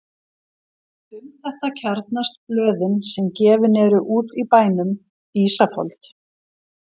Um þetta kjarnast blöðin sem gefin eru út í bænum: Ísafold